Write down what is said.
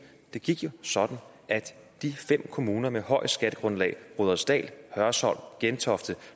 det gik jo sådan at de fem kommuner med højest skattegrundlag rudersdal hørsholm gentofte